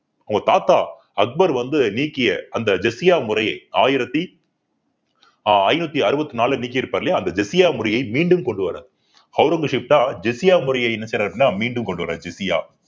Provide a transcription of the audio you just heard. அவங்க தாத்தா அக்பர் வந்து நீக்கிய அந்த ஜிஸியா முறையை ஆயிரத்தி ஆஹ் ஐநூத்தி அறுபத்தி நாலுல நீக்கி இருப்பாரு இல்லையா அந்த ஜிஸியா வரியை மீண்டும் கொண்டு வர்றார் அவுரங்கஸீப் தான் ஜிஸியா முறையை என்ன செய்றாரு அப்படின்னா மீண்டும் கொண்டுவரார் ஜிஸியா